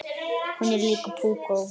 Hún er líka púkó.